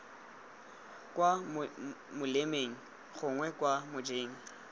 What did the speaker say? kwa molemeng gongwe kwa mojeng